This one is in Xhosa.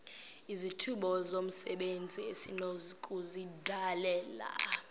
izithuba zomsebenzi esinokuzidalela